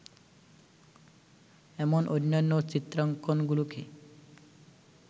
এমন অন্যান্য চিত্রাঙ্কন গুলোকে